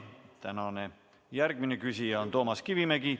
Tänane järgmine küsija on Toomas Kivimägi.